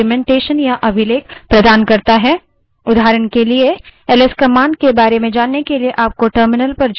man man command system पर सभी उपलब्ध command के बारे में डाक्यूमेन्टेशन या अभिलेख प्रदान करता है